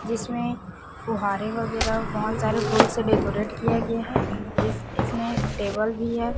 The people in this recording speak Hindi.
जिसमे फुहारे वगैरह बहोत सारे फूल से डेकोरेट किया गया है जिस इसमे एक टेबल भी है।